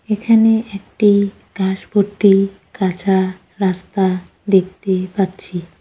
এখানে একটি ঘাস ভর্তি কাঁচা রাস্তা দেখতে পাচ্ছি।